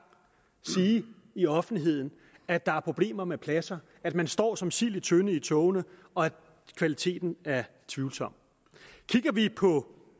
i offentligheden at der er problemer med pladser at man står som sild i en tønde i togene og at kvaliteten er tvivlsom kigger vi på